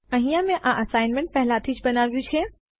અહીંયા મેં આ અસાઇનમેન્ટને પહેલાથી જ બનાવ્યું છે